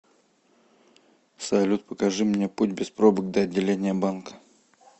салют покажи мне путь без пробок до отделения банка